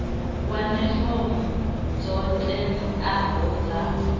wane fomo dzo teaho dza